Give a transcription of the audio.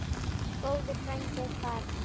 Góður frændi er farinn.